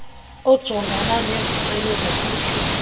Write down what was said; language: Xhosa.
ojongana nezicelo zophuhliso